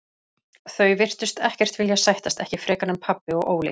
Þau virtust ekkert vilja sættast, ekki frekar en pabbi og Óli.